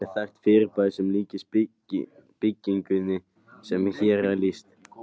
Til er þekkt fyrirbæri sem líkist bylgjunni sem hér er lýst.